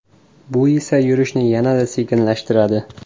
Bu esa yurishni yanada sekinlashtiradi.